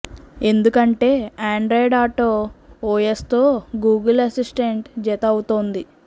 ఎందుకంటే Android Auto ఓఎస్తో Google Assistant జత అవుతోంది